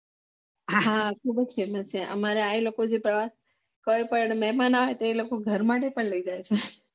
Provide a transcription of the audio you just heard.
હા ખુબ જ famous છે આમારા ત્યા આવેલો પ્રવાસ પર જે મેહમાન આવે તે લોકો ઘર માટે પણ લય જાય છે